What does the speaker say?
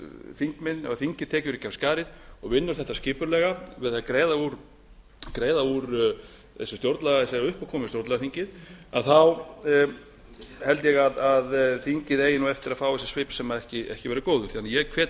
þingmenn ef þingið tekur ekki af skarið og vinnur þetta skipulega við að greiða úr þessari uppákomu um stjórnlagaþingið held ég að þingið eigi eftir að fá svip sem ekki verður góður þannig að ég hvet